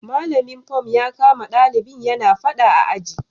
Malamin fom ya kama dalibin yana fada a aji